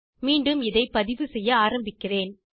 மீண்டும் இதை பதிவு செய்ய ஆரம்பிக்கிறேன்